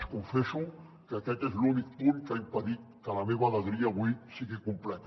els confesso que aquest és l’únic punt que ha impedit que la meva alegria avui sigui completa